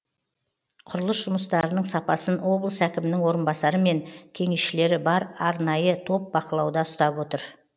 құрылыс жұмыстарының сапасын облыс әкімінің орынбасары мен кеңесшілері бар арнайы топ бақылауда ұстап отыр